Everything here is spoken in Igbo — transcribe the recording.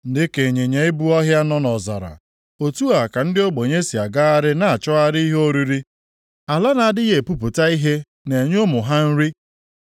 Dịka ịnyịnya ibu ọhịa nọ nʼọzara, otu a ka ndị ogbenye si agagharị na-achọgharị ihe oriri, ala na-adịghị epupụta ihe na-enye ụmụ ha nri.